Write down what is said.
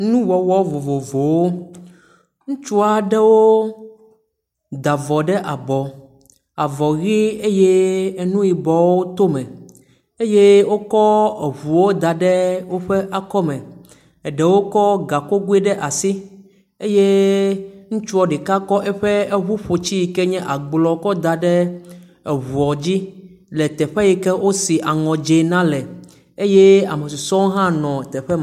Nuwɔwɔ vovovowo. Ŋutsu aɖewo da avɔ ɖe abɔ. Avɔ ʋi eye nu yibɔwo to eme eye wokɔ ŋuwo da ɖe woƒe akɔme. Eɖowo kɔ gakogui ɖe asi eye ŋutsua ɖeka kɔ eƒo ŋuƒotsi si nye agblɔ kɔ da ɖe ŋua dzi le teƒe si ke wosi aŋɔ dzɛ̃ na le eye ame susuewo hã nɔ teƒe ma.